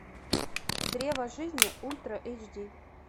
древо жизни ультра эйч ди